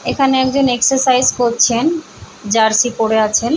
এখানে একজন এক্সারসাইজ করছেন । জার্সি পরে আছেন।